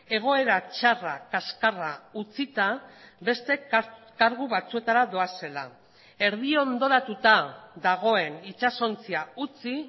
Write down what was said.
egoera txarra kaxkarra utzita beste kargu batzuetara doazela erdi ondoratuta dagoen itsasontzia utzi